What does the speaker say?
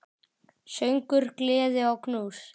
Söngur, gleði og knús.